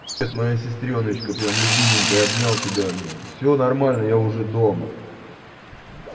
это моя сестрёночка прям любименькая обнял тебя всё нормально я уже дома